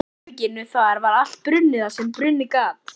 herberginu, þar var allt brunnið sem brunnið gat.